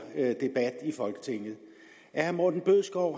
her debat i folketinget at herre morten bødskov